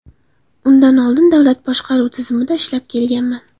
Undan oldin davlat boshqaruv tizimida ishlab kelganman.